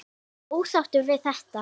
Ertu ósáttur við þetta?